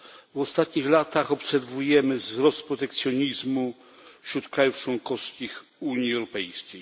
W ostatnich latach obserwujemy wzrost protekcjonizmu wśród państw członkowskich Unii Europejskiej.